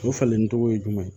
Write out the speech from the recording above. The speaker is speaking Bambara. O falennen tɔgɔ ye jumɛn ye